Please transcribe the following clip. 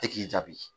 E k'i jaabi